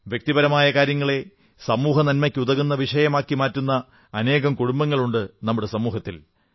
വ്യക്തിപരമായ കാര്യങ്ങളെ സമൂഹനന്മയ്ക്കുതകുന്ന വിഷയമാക്കി മാറ്റുന്ന അനേകം കുടുംബങ്ങളുണ്ട് നമ്മുടെ സമൂഹത്തിൽ